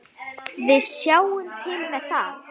Við sjáum til með það.